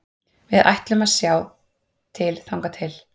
Við ætlum að sjá til þangað til.